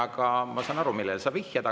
Aga ma saan aru, millele sa vihjad.